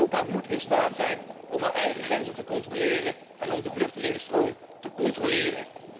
Europa moet in staat zijn om haar eigen grenzen te controleren en om de vluchtelingenstroom te controleren.